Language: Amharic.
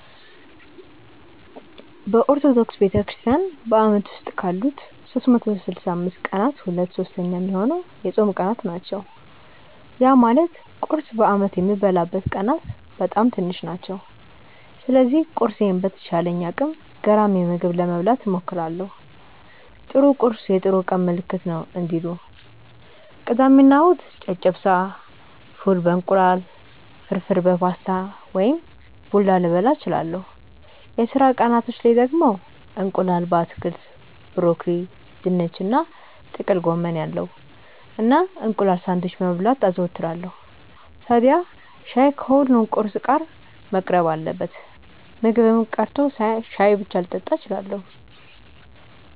በኦርቶዶክስ ቤተክርስትያን በአመት ውስጥ ካሉት 365 ቀናት ሁለት ሶስተኛ ሚሆነው የጾም ቀናት ናቸው። ያ ማለት ቁርስ በአመት የምበላበት ቀናት በጣም ትንሽ ናቸው። ስለዚህ ቁርሴን በተቻለኝ አቅም ገራሚ ምግብ ለመብላት እሞክራለው 'ጥሩ ቁርስ የጥሩ ቀን ምልክት ነው' እንዲሉ። ቅዳሜ እና እሁድ ጨጨብሳ፣ ፉል በ እንቁላል፣ ፍርፍር በፓስታ ወይም ቡላ ልበላ እችላለው። የስራ ቀናቶች ላይ ደግሞ እንቁላል በአትክልት (ብሮኮሊ፣ ድንች እና ጥቅል ጎመን ያለው) እና እንቁላል ሳንድዊች መብላት አዘወትራለው። ታድያ ሻይ ከሁሉም ቁርስ ጋር መቅረብ አለበት። ምግብም ቀርቶ ሻይ ብቻ ልጠጣም እችላለው።